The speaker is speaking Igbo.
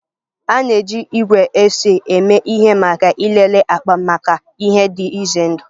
A na-eji igwe X-ray eme ihe maka ịlele akpa maka ihe ndị dị ize ndụ